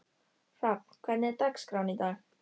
Hrafn, hvernig er dagskráin í dag?